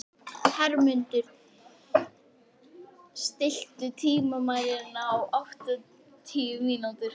Hermundur, stilltu tímamælinn á áttatíu mínútur.